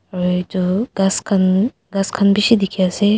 tu ghass khan ghass khan bishi dikhi dikhi ase.